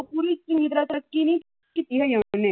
ਪੂਰੀ ਚੰਗੀ ਤਰ੍ਹਾਂ ਤਰੱਕੀ ਨਹੀ ਕੀਤੀ ਹੈਗੀ ਉਨੇ।